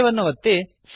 save ಅನ್ನು ಒತ್ತಿ